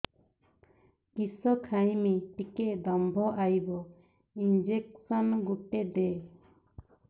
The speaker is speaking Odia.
କିସ ଖାଇମି ଟିକେ ଦମ୍ଭ ଆଇବ ଇଞ୍ଜେକସନ ଗୁଟେ ଦେ